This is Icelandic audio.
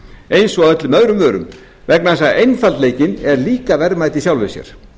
eins og öllum öðrum vörum vegna þess að einfaldleikinn er líka verðmæti í sjálfu sér